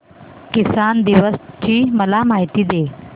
किसान दिवस ची मला माहिती दे